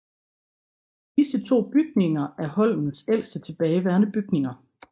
Disse to bygninger er Holmens ældste tilbageværende bygninger